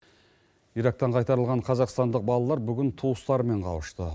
ирактан қайтарылған қазақстандық балалар бүгін туыстарымен қауышты